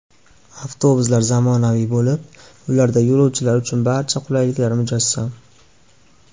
Avtobuslar zamonaviy bo‘lib, ularda yo‘lovchilar uchun barcha qulayliklar mujassam.